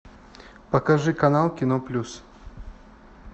покажи канал кино плюс